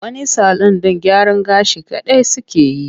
Wani salun ɗin gyaran gashi kaɗai suke yi.